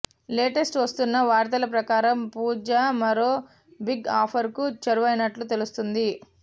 latest వస్తున్న వార్తల ప్రకారం పూజా మరో బిగ్ ఆఫర్ కు చేరువైనట్లు తెలుస్తోంది